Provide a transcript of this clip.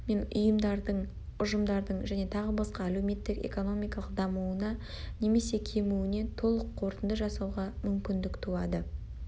мен ұйымдардың ұжымдардың және тағы басқа әлеуметтік-экономикалық дамуына немесе кемуіне толық қорытынды жасауға мүмкіндік туады